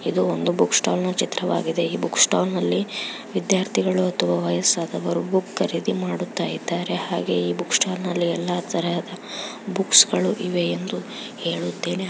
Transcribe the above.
ಇದು ಒಂದು book stall ನ ಚಿತ್ರವಾಗಿದೆ.ಈ ಬುಕ್ಸ್ಟಾಲ್ ನಲ್ಲಿ ವಿದ್ಯಾರ್ಥಿಗಳು ವಯಸ್ಸಾದವರು ಬುಕ್ ಗಳನ್ನೂ ಖರೀದಿ ಮಾಡುತ್ತಿದಾರೆ .ಹಾಗೆ ಈ ಬುಕ್ಸ್ಟಾಲ್ ಅಲ್ಲಿ ಎಲ್ಲ ತರಹದ ಬುಕ್ಸ್ ಗಳು ಇವೆ ಎಂದು ಹೇಳುತ್ತೇನೆ .